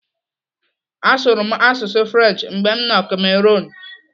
Asụrụ m asụsụ French mgbe m nọ Cameroon.